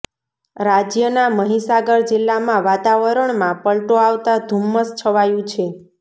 રાજ્યના મહીસાગર જિલ્લામાં વાતાવરણમાં પલટો આવતા ધુમ્મસ છવાયું છે